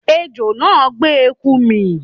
Ejò náà gbé eku mì